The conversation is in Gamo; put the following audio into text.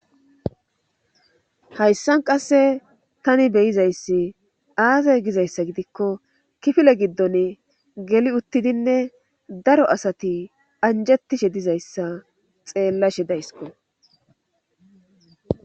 hayssan qasse tani beyizayssi aazee gizayssa gidikko kifile giddon geli uttidinne daro asati anjettishe dizayssa xeellashe dayskko